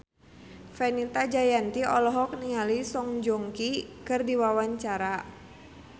Fenita Jayanti olohok ningali Song Joong Ki keur diwawancara